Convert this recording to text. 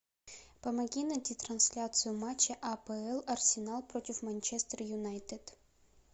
помоги найти трансляцию матча апл арсенал против манчестер юнайтед